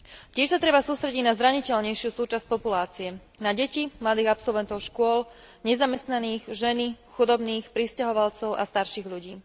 Tiež sa treba sústrediť na zraniteľnejšiu súčasť populácie na deti, mladých absolventov škôl, nezamestnaných, ženy, chudobných, prisťahovalcov a starších ľudí.